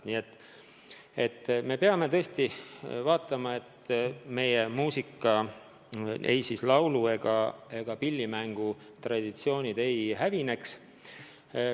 Nii et me peame tõesti vaatama, et meie muusikatraditsioonid, ei laulu- ega pillimängutraditsioonid ei hävineks.